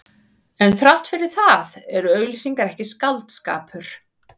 En þrátt fyrir það eru auglýsingar ekki skáldskapur.